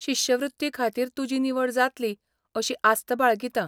शिश्यवृत्ती खातीर तुजी निवड जातली अशी आस्त बाळगितां.